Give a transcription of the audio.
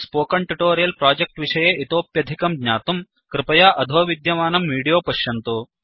spoken tutorial project विषये इतोप्यधिकं ज्ञातुं कृपया अधो विद्यमानं विडीयो पश्यन्तु